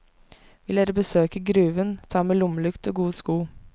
Vil dere besøke gruven ta med lommelykt og gode sko.